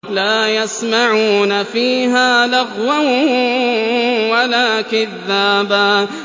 لَّا يَسْمَعُونَ فِيهَا لَغْوًا وَلَا كِذَّابًا